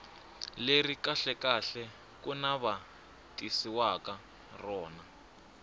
leri kahlekahle ku navetisiwaka rona